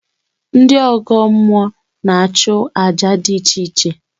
Ndị ọgọ mmụọ na-achụ àjà dị iche iche